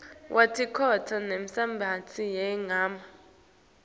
wetinshokutsi nemisebenti yemagama